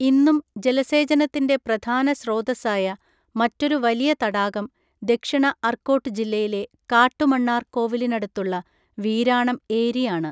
ഇന്നും ജലസേചനത്തിന്‍റെ പ്രധാന സ്രോതസ്സായ, മറ്റൊരു വലിയ തടാകം ദക്ഷിണ അർക്കോട്ട് ജില്ലയിലെ കാട്ടുമണ്ണാർ കോവിലിനടുത്തുള്ള വീരാണം ഏരി ആണ്.